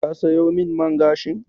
Ka sayo min man gashin?